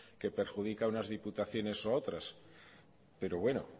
que perjudica unas diputaciones o a otras pero bueno